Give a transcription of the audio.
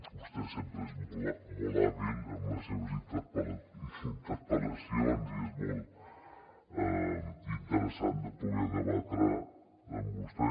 vostè sempre és molt hàbil amb les seves interpel·lacions i és molt interessant de poder debatre amb vostè